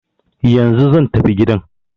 Yanzu zan tafi gidan.